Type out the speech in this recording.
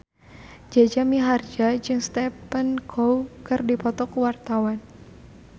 Jaja Mihardja jeung Stephen Chow keur dipoto ku wartawan